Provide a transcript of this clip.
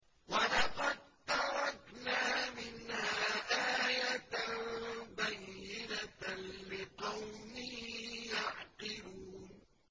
وَلَقَد تَّرَكْنَا مِنْهَا آيَةً بَيِّنَةً لِّقَوْمٍ يَعْقِلُونَ